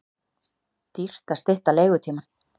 Dýrt að stytta leigutímann